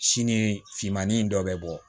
Sini finmanin in dɔ bɛ bɔ